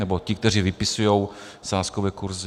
Nebo ti, kteří vypisují sázkové kurzy.